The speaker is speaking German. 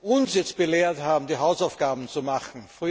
uns jetzt belehrt haben, die Hausaufgaben zu machen.